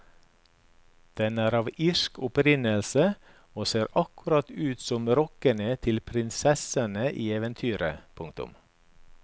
Den er av irsk opprinnelse og ser akkurat ut som rokkene til prinsessene i eventyrene. punktum